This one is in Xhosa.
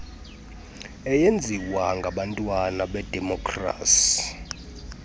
eyenziwa ngabantwana bedemokrasi